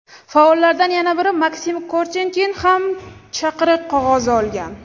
Faollardan yana biri Maksim Korchenkin ham chaqiriq qog‘ozi olgan.